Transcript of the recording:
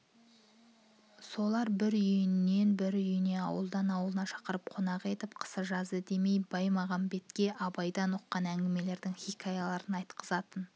солар бір үйінен бір үйіне ауылдан аулына шақырып қонақ етіп қысы-жазы демей баймағамбетке абайдан ұққан әңгімелерің хикаяларын айтқызатын